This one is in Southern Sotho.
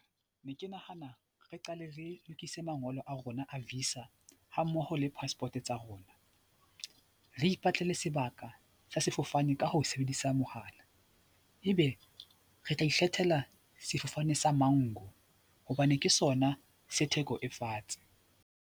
Ne ke nahana re qale re lokise mangolo a rona a visa hammoho le passport tsa rona, re ipatlele sebaka sa sefofane ka ho sebedisa mohala ebe re tla ikgethela sefofane sa Manku hobane ke sona se theko e fatshe.